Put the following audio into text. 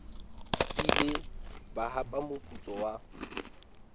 ile ba hapa moputso wa